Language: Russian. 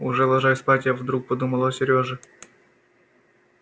уже ложась спать я вдруг подумала о серёже